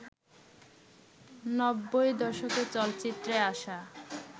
নব্বই দশকে চলচ্চিত্রে আসা